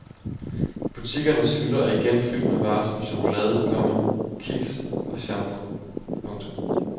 Butikkernes hylder er igen fyldt med varer som chokolade, komma kiks og shampoo. punktum